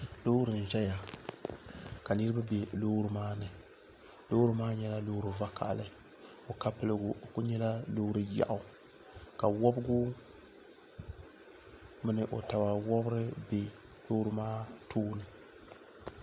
Loori n ʒɛya ka niraba bɛ loori maa ni loori maa nyɛla loori vakaɣili o ka piligu o ku nyɛla loori yaɣu ka wobigi mini o taba wobiri bɛ loori maa tooni